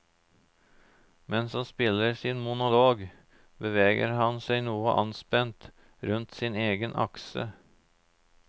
Mens han spiller sin monolog, beveger han seg noe anspent rundt sin egen akse.